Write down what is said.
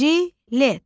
Jilet.